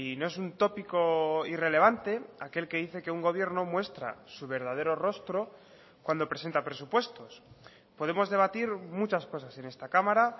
no es un tópico irrelevante aquel que dice que un gobierno muestra su verdadero rostro cuando presenta presupuestos podemos debatir muchas cosas en esta cámara